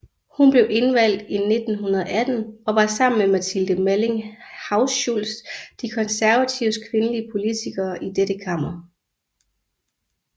Hun blev indvalgt i 1918 og var sammen med Mathilde Malling Hauschultz de konservatives kvindelige politikere i dette kammer